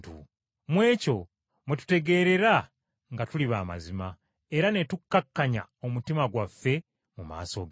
Mu ekyo mwe tutegeerera nga tuli ba mazima, era ne tukkakkanya omutima gwaffe mu maaso ge.